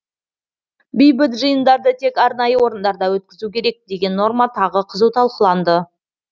бейбіт жиындарды тек арнайы орындарда өткізу керек деген норма тағы қызу талқыланды